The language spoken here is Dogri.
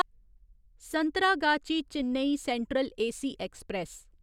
Santragachi Chennai Central AC express